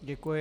Děkuji.